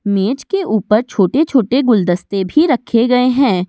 मेज के ऊपर छोटे-छोटे गुलदस्ते भी रखे गए हैं।